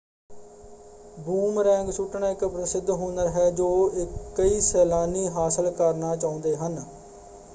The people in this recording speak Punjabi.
ਬੂਮਰੈਂਗ ਸੁੱਟਣਾ ਇੱਕ ਪ੍ਰਸਿੱਧ ਹੁਨਰ ਹੈ ਜੋ ਕਈ ਸੈਲਾਨੀ ਹਾਸਲ ਕਰਨਾ ਚਾਹੁੰਦੇ ਹਨ।